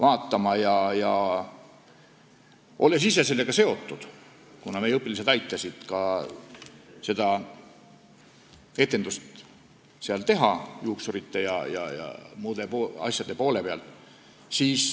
Ma olin ise sellega seotud, kuna meie õpilased aitasid seda etendust teha juuksurite ja muude töötajate poole peal.